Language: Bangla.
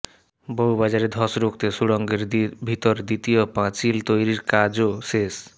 বউবাজারে ধস রুখতে সুড়ঙ্গের ভিতর দ্বিতীয় পাঁচিল তৈরির কাজও শেষ